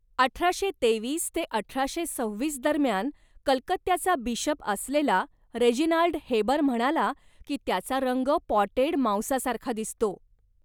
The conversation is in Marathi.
अठराशे तेवीस ते अठराशे सव्वीस दरम्यान कलकत्ताचा बिशप असलेला रेजिनाल्ड हेबर म्हणाला की त्याचा रंग पॉटेड मांसासारखा दिसतो